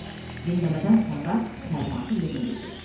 Dinləmədən sonra təlimatı yerinə yetir.